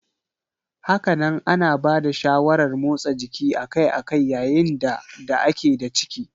Hakanan ana bada shawarar motsa jiki akai-akai yayin da da a ke da ciki.